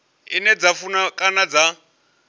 ine dza funa kana dza